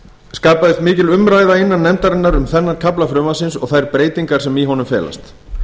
skapaðist mikil umræða innan nefndarinnar um þennan kafla frumvarpsins og þær breytingar sem í honum felast